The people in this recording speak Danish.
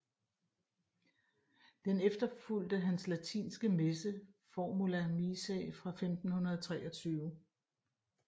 Den efterfulgte hans latinske messe Formula missae fra 1523